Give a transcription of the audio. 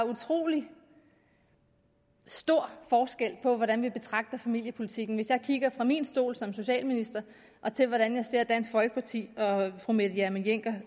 utrolig stor forskel på hvordan vi betragter familiepolitikken hvis jeg kigger fra min stol som socialminister og til hvordan dansk folkeparti og fru mette hjermind dencker